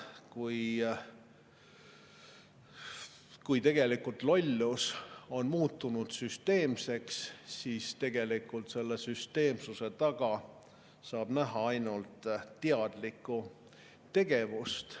Kui lollus on muutunud süsteemseks, siis tegelikult saab selle süsteemsuse taga näha ainult teadlikku tegevust.